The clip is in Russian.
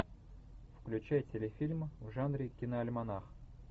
включай телефильм в жанре киноальманах